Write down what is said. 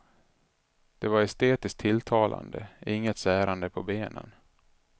Det var estetiskt tilltalande, inget särande på benen.